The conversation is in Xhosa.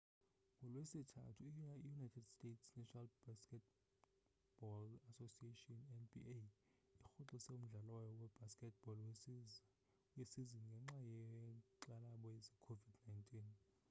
ngolwesithathu i-united states' national basketball association nba irhoxise umdlalo wayo webasket ball wesizini ngenxa yenkxalabo ze covid-19